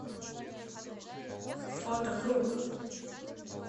фото круг